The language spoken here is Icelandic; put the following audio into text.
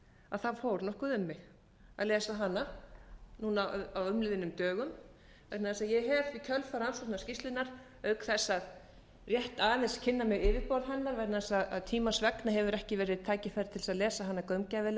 að það fór nokkuð um mig að lesa hana núna á umliðnum dögum vegna þess að ég hef í kjölfar rannsóknarskýrslunnar auk þess að rétt aðeins kynna mér yfirborð hennar vegna þess að tímans vegna hefur ekki verið tækifæri til að kynna sér hana